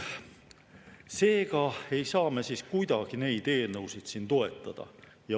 Seega ei saa me kuidagi neid eelnõusid toetada.